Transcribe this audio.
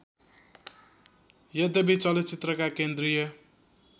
यद्यपि चलचित्रका केन्द्रीय